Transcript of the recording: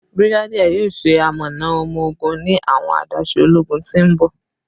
Brigadier yoo ṣe amọna ọmọ-ogun ni awọn adaṣe ologun ti n bọ.